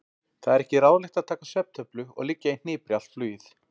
Það er ekki ráðlegt að taka svefntöflu og liggja í hnipri allt flugið.